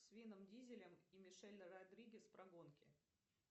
с вином дизелем и мишель родригес про гонки